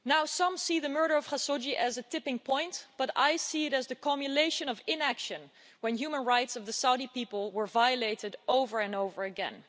Some see the murder of Mr Khashoggi as a tipping point, but I see it as the cumulation of inaction when the human rights of the Saudi people were violated over and over again.